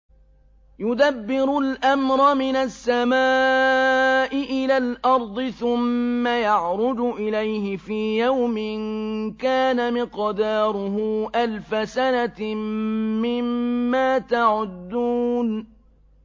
يُدَبِّرُ الْأَمْرَ مِنَ السَّمَاءِ إِلَى الْأَرْضِ ثُمَّ يَعْرُجُ إِلَيْهِ فِي يَوْمٍ كَانَ مِقْدَارُهُ أَلْفَ سَنَةٍ مِّمَّا تَعُدُّونَ